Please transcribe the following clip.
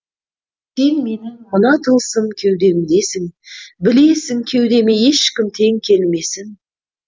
сен менің мына тылсым кеудемдесің білесің кеудеме ешкім тең келмесін